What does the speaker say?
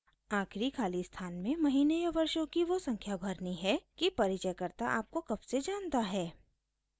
आखिरी खाली स्थान में महीने या वर्षों की वो संख्या भरनी है कि परिचयकर्ता आपको कब से जनता है